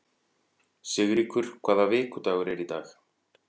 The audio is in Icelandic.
Sigríkur, hvaða vikudagur er í dag?